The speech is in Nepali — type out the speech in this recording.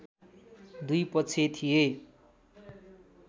दुई पक्ष थिए